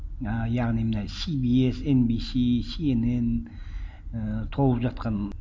ііі яғни мына си би эс эм би си си эн эн і толып жатқан